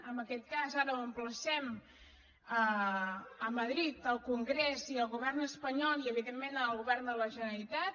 en aquest cas ara ho emplacem a madrid al congrés i al govern espanyol i evidentment al govern de la generalitat